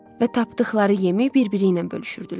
Və tapdıqları yemi bir-biriynən bölüşürdülər.